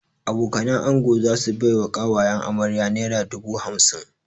Abokanan ango za su bai wa ƙawayen amarya naira dubu hamsin